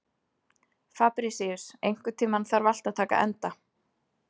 Fabrisíus, einhvern tímann þarf allt að taka enda.